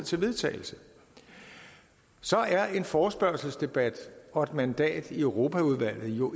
til vedtagelse så er en forespørgselsdebat og et mandat i europaudvalget jo